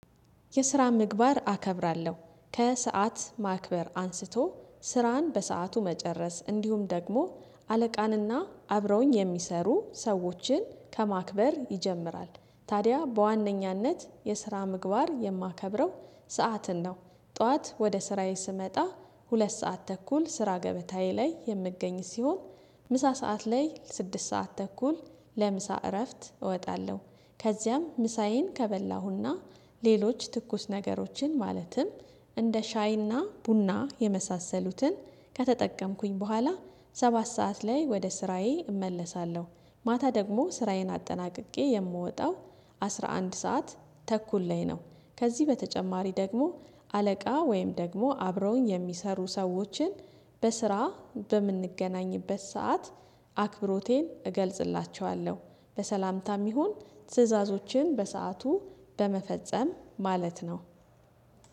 የስራ ምግባር አከብራለሁ ከሰአት ማክበር አንስቶ ስራን በሰአቱ መጨረስ እንዲሁም ደግሞ አለቃንና አብረውኝ የሚሰሩ ሰዎችን ከማክበር ይጀምራል ታዲያ በዋነኛነት የስራ ምግባር የማከብረው ሰዓትን ነው። ጠዋት ወደ ስራዬ ስመጣ ሁለት ሰዓት ተኩል ስራ ገበታዬ ላይ የምገኝ ሲሆን። ምሳ ሰዓት ላይ ስድስት ሰዓት ተኩል ለምሳ እረፍት እወጣለሁ። ከዚያም ምሳዬን ከበላሁና ሌሎች ትኩስ ነገሮችን ማለትም እንደ ሻይና ቡና የመሳሰሉትን ከተጠቀምኩኝ በኋላ ሰባት ሰዓት ላይ ወደ ስራዬ እመለሳለሁ። ማታ ደግሞ ስራዬን አጠናቅቄ የምወጣው አስራ አንድ ሰዓት ተኩል ላይ ነው። ከዚህ በተጨማሪ ደግሞ አለቃ ወይም ደግሞ አብረውኝ የሚሰሩ ሰዎችን በስራ በምንገናኝበት ሰዓት አክብሮቴን እገልጽላቸዋለሁ። በሰላምታም ይሁን ትዕዛዞችን በሰአቱ በመፈጸም ማለት ነው።